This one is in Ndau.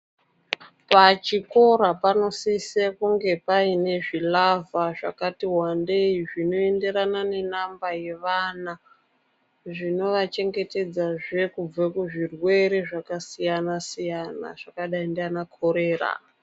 Pachikora panosisa kunge paine zvilavha zvakati wandei zvinoenderana nenamba yevana zvinovachengetedzazve kubva kuzvirwere zvakasiyana siyana zvakadai ngana korera.